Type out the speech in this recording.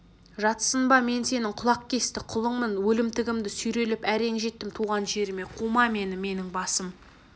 жатсынба мен сенің құлақ кесті құлыңмын өлімтігімді сүйрелеп әрең жеттім туған жеріме қума мені менің басым